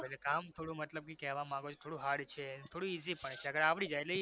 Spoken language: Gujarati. ok એટલે કામ થોડું મતલબ કે કેવા માંગો છો થોડું hard છે થોડું easy પણ છે અગર આવડી જાય એટલે easy